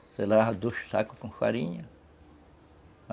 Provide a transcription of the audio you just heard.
Você levava dois sacos com farinha.